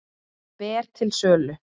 Ber til sölu